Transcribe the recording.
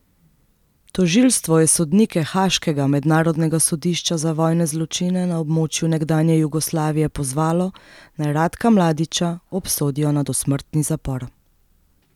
Tožilstvo je sodnike haaškega Mednarodnega sodišča za vojne zločine na območju nekdanje Jugoslavije pozvalo, naj Ratka Mladića obsodijo na dosmrtni zapor.